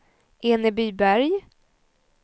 Enebyberg